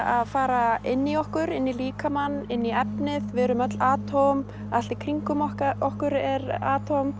að fara inn í okkur inn í líkamann inn í efnið við erum öll allt í kringum okkur okkur er